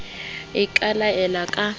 icd e ka laela ka